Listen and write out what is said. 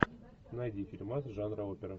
найди фильмас жанра опера